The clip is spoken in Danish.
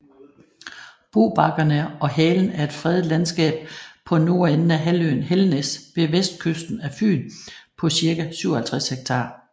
Bobakkerne og Halen er et fredet landskab på nordenden af halvøen Helnæs ved vestkysten af Fyn på cirka 57 hektar